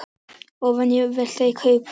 Óvenjumikil velta í Kauphöll